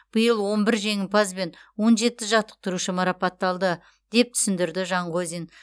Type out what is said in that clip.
биыл он бір жеңімпаз бен он жеті жаттықтырушы марапатталды деп түсіндірді жанғозин